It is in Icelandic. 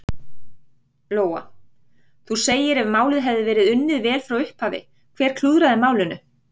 Lóa: Þú segir ef málið hefði verið unnið vel frá upphafi, hver klúðraði málinu?